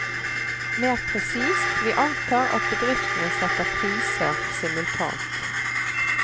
Mer presist, vi antar at bedriftene setter priser simultant.